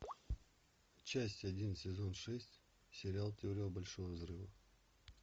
часть один сезон шесть сериал теория большого взрыва